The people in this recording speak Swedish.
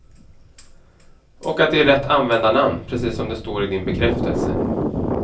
Och att det är rätt användarnamn, precis som det står i din bekräftelse.